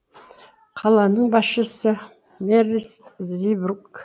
қаланың басшысы мерлис зибург